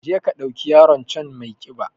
Je ka ɗauki yaron can maiƙiba